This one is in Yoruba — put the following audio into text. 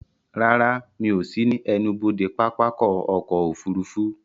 Rárá, Mi ò sí ní ẹnubodè pápákọ̀ ọ̀kọ òfurufú